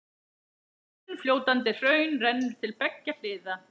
Þunnfljótandi hraun rennur til beggja hliða.